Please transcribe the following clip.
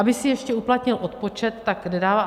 Aby si ještě uplatnil odpočet, tak nedává.